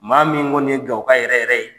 Maa min kɔni ye gawoka yɛrɛyɛrɛ ye